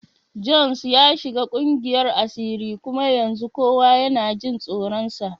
Jones ya shiga kungiyar asiri kuma yanzu kowa yana jin tsoronsa.